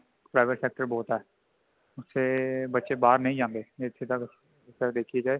private sector ਬਹੁਤ ਹੈ |ਇੱਥੇ ਬੱਚੇ ਬਾਹਰ ਨਹੀਂ ਜਾਂਦੇ ਇਸ ਤਰਾਂ ਦੇਖਿਆ ਜਾਏ